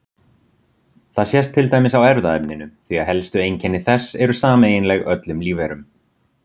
Það sést til dæmis á erfðaefninu því að helstu einkenni þess eru sameiginleg öllum lífverum.